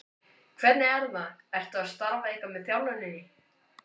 Hvernig er það, ertu að starfa eitthvað með þjálfuninni?